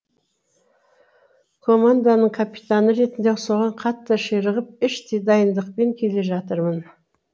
команданың капитаны ретінде соған қатты ширығып іштей дайындықпен келе жатырмын